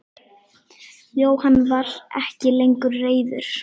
Jóhann var ekki lengur reiður.